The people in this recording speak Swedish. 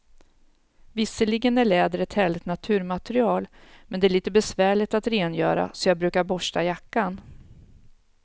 Visserligen är läder ett härligt naturmaterial, men det är lite besvärligt att rengöra, så jag brukar borsta jackan.